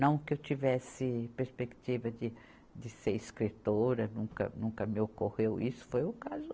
Não que eu tivesse perspectiva de, de ser escritora, nunca, nunca me ocorreu isso, foi ocasio.